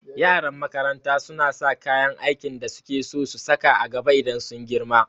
Yaran makaranta suna sa kayan aikin da suke so su saka a gaba idan sun girma